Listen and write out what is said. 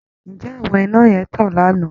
Ǹjẹ́ àwọn iná yẹn tàn lánàá!